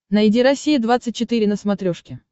найди россия двадцать четыре на смотрешке